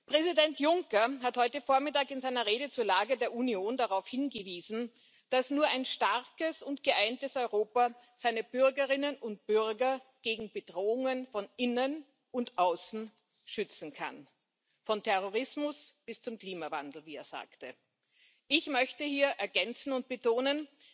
Präsident Juncker hat heute Vormittag in seiner Rede zur Lage der Union darauf hingewiesen, dass nur ein starkes und geeintes Europa seine Bürgerinnen und Bürger gegen Bedrohungen von innen und außen schützen kann von Terrorismus bis zum Klimawandel, wie er sagte. Ich möchte hier ergänzen und betonen,